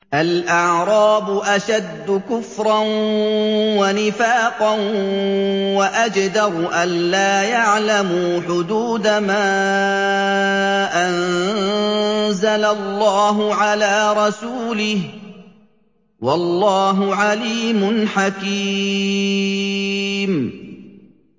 الْأَعْرَابُ أَشَدُّ كُفْرًا وَنِفَاقًا وَأَجْدَرُ أَلَّا يَعْلَمُوا حُدُودَ مَا أَنزَلَ اللَّهُ عَلَىٰ رَسُولِهِ ۗ وَاللَّهُ عَلِيمٌ حَكِيمٌ